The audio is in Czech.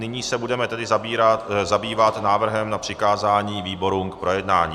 Nyní se budeme tedy zabývat návrhem na přikázání výborům k projednání.